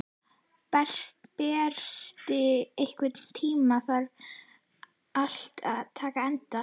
Berti, einhvern tímann þarf allt að taka enda.